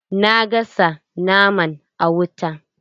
Na gasa naman a wuta.